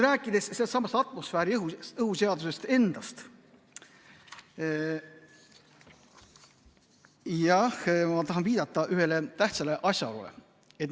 Rääkides sellestsamast atmosfääriõhu seadusest endast, siis jah, ma tahan viidata ühele tähtsale asjaolule.